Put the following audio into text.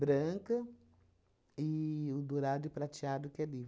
Branca e o dourado e prateado que é